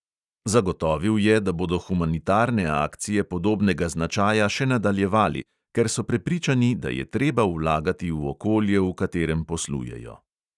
Zagotovil je, da bodo humanitarne akcije podobnega značaja še nadaljevali, ker so prepričani, da je treba vlagati v okolje, v katerem poslujejo.